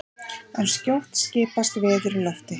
en skjótt skipast veður í lofti!